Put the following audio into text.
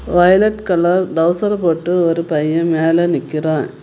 Violet colour trouser போட்டு ஒரு பைய மேல நிக்கிறா.